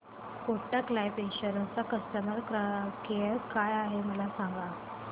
Kotak life insurance चा customer care काय आहे मला सांगा